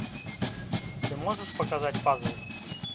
ты можешь показать пазл